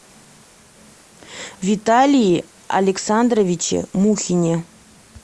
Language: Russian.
виталии александровиче мухине